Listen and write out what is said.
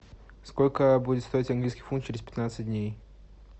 сколько будет стоить английский фунт через пятнадцать дней